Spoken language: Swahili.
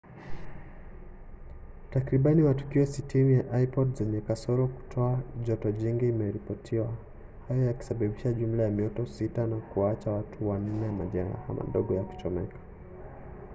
takriban matukio 60 ya ipod zenye kasoro kutoa joto jingi yameripotiwa hivyo kusababisha jumla ya mioto sita na kuwaacha watu wanne na majeraha madogo ya kuchomeka